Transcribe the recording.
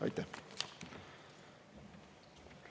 Aitäh!